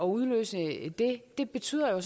udløst betyder jo